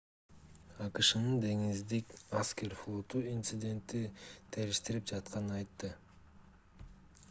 акшнын деңиздик аскер флоту инцидентти териштирип жатканын айтты